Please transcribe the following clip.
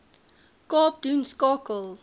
kaap doen skakel